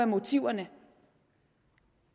motiverne